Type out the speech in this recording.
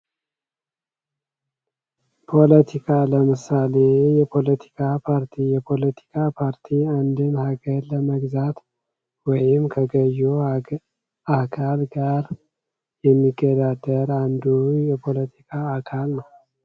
ፖለቲካ ፖለቲካ ለምሳሌ የፖለቲካ ፓርቲ የፖለቲካ ፓርቲ አንዲን ሃገር ለመግዛት ወይም ከገዢው አካል ጋር አንዲን ሃገር ለመግዛት ወይም ከገዢው አካል ጋር የሚገዳደር አንዱ የፖለቲካ አካል ነው።